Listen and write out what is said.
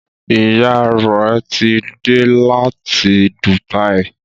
Ìyá rẹ tí dé là tí Dubai.